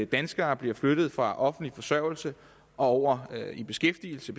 danskere bliver flyttet fra offentlig forsørgelse og over i beskæftigelse